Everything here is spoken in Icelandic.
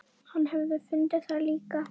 Hann hafi fundið það líka.